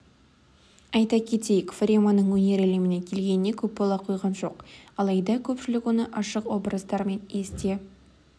айта кетейік фареманың өнер әлеміне келгеніне көп бола қойған жоқ алайда көпшілік оны ашық образдарымен есте